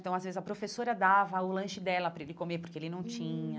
Então, às vezes, a professora dava o lanche dela para ele comer, porque ele não tinha hum.